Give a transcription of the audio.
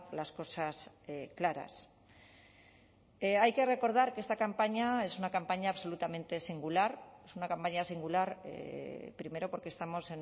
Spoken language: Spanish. las cosas claras hay que recordar que esta campaña es una campaña absolutamente singular es una campaña singular primero porque estamos